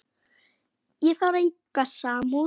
Ég þarf enga samúð.